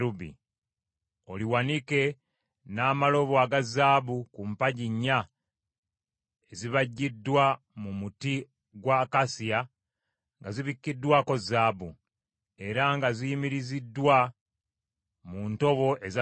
Oliwanike n’amalobo aga zaabu ku mpagi nnya ezibajjiddwa mu muti gwa akasiya nga zibikkiddwako zaabu, era nga ziyimiriziddwa mu ntobo eza ffeeza.